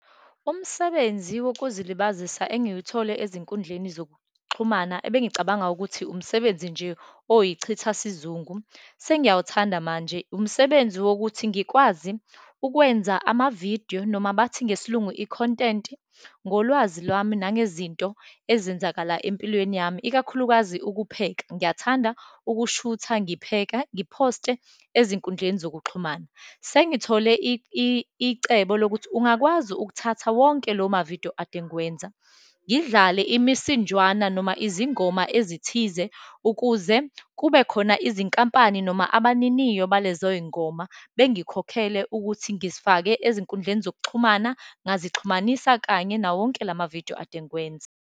Umsebenzi wokuzilibazisa engiwuthole ezinkundleni zokuxhumana, ebengicabanga ukuthi umsebenzi nje oyichitha sizungu, sengiyakuthanda manje. Umsebenzi wokuthi ngikwazi ukwenza amavidiyo, noma bathi ngesiLungu i-content, ngolwazi lwami, nangezinto ezenzakala empilweni yami, ikakhulukazi ukupheka. Ngiyathanda ukushutha, ngipheka, ngiphoste ezinkundleni zokuxhumana. Sengithole icebo lokuthi ungakwazi ukuthatha wonke lomavidiyo ade ngiwenza, ngidlale imisinjwana noma izingoma ezithize, ukuze kubekhona izinkampani, noma abaniniyo balezoyingoma, bengikhokhele ukuthi ngizifake ezinkundleni zokuxhumana, ngazixhumanisa kanye nawo wonke lamavidiyo ade ngiwenza.